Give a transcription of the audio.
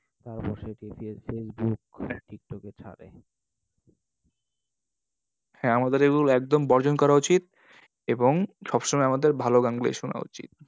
তারপর সেই Facebook TikTok এ ছাড়ে। হ্যাঁ আমাদের এগুলো একদম বর্জন করা উচিত। এবং সবসময় আমাদের ভালো গানগুলোই শোনা উচিত।